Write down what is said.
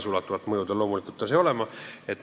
Tagasiulatuvat mõju sel seadusel loomulikult ei saaks olema.